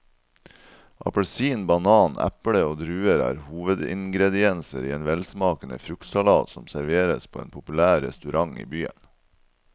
Appelsin, banan, eple og druer er hovedingredienser i en velsmakende fruktsalat som serveres på en populær restaurant i byen.